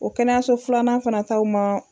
O kɛnɛyaso filanan fana ta o ma